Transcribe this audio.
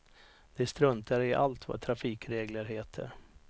De struntar i allt vad trafikregler heter.